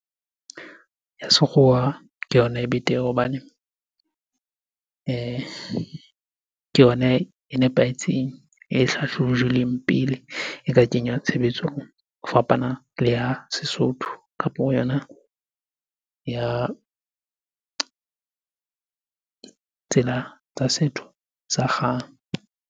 Ya sekgowa ke yona e betere hobane ke yona e nepahetseng, e hlahlojilweng pele e ka kenywa tshebetsong. Ho fapana le ya Sesotho kapo yona ya tsela tsa setho sa kgale.